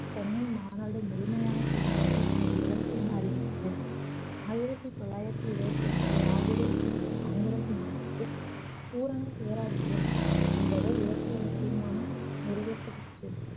சென்னை மாநாடு முழுமையான சுதந்திரமே தனது இலக்கு என அறிவித்தது ஆயிரத்தி தொள்ளாயிரத்தி இருபத்தி ஒன்றில் லாஹூரில் கூடிய காங்கிரஸ் மாநாட்டில் பூரண சுயராஜ்ஜியம் என்பதை இலக்கு என தீர்மானம் நிறைவேற்றப்பட்டது